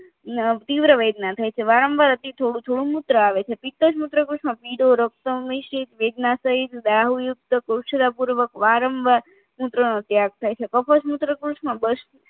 તીવ્ર વેદના થઈ છે વારંવાર અતિ થોડું થોડું મૂત્ર આવે છે પિતજ મૂત્ર કોષમાં પીળો રક્ત સીત વેદનાસહિત કોછરાપૂર્વક વારંવાર મૂત્રનો ત્યાગ થાય છે કફજ મૂત્રકોશમાં બસ